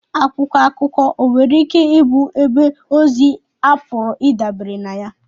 Akwụkwọ akụkọ nwere ike ịbụ ebe ozi a pụrụ ịdabere na ya